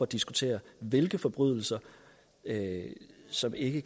diskutere hvilke forbrydelser som ikke